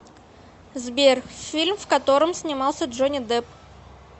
сбер фильм в котором снимался джонни дэпп